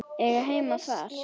Eiga heima þar.